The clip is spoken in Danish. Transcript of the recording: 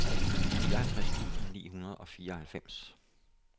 nioghalvtreds tusind ni hundrede og fireoghalvfems